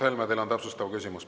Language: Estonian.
Mart Helme, teil on täpsustav küsimus.